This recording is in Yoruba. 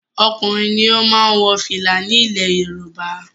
Ọkùnrin ló máa ń wo fìlà ni ilẹ̀ Yorùbá